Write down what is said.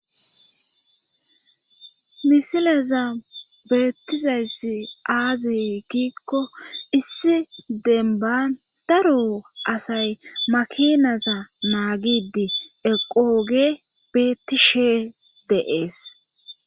misileza beettizayssi aazi kiikko issi denban daro asay makinaza naagidi eqooge beetti shee deees